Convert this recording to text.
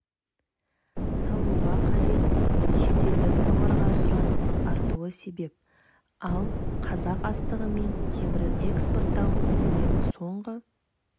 салуға қажет шетелдік тауарға сұраныстың артуы себеп ал қазақ астығы мен темірін экспорттау көлемі соңғы